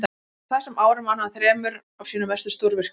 á þessum árum vann hann að þremur af sínum mestu stórvirkjum